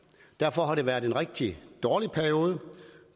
derfor har det været en rigtig dårlig periode